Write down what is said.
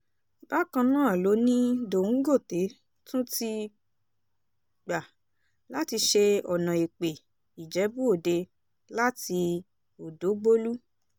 bákan náà ló ní dòńgòté tún ti gbà láti ṣe ọ̀nà èpè-ìjẹ́bú-òde láti ọ̀dọ́gbòlú